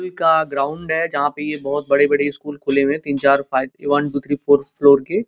का ग्राउंड है जहाँ पे ये बोहोत बड़े-बड़े स्कूल खुले हुए है तीन चार five one two three four floor के।